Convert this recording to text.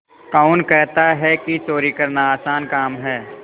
कौन कहता है कि चोरी करना आसान काम है